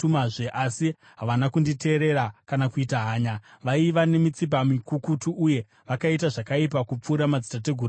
Asi havana kunditeerera kana kuita hanya. Vaiva nemitsipa mikukutu uye vakaita zvakaipa kupfuura madzitateguru avo.’